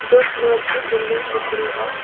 दो फ्लोर की बिल्डिंग दिख रही है।